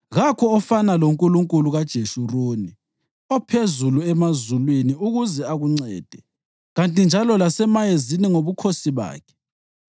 Kakho ofana loNkulunkulu kaJeshuruni, ophezulu emazulwini ukuze akuncede kanti njalo lasemayezini ngobukhosi bakhe.